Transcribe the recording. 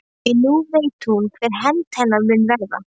Því nú veit hún hver hefnd hennar mun verða.